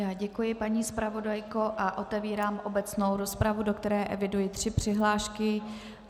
Já děkuji, paní zpravodajko, a otevírám obecnou rozpravu, do které eviduji tři přihlášky.